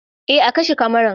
A kashe kamara